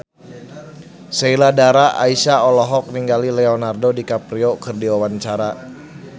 Sheila Dara Aisha olohok ningali Leonardo DiCaprio keur diwawancara